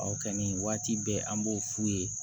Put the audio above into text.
ka nin waati bɛɛ an b'o f'u ye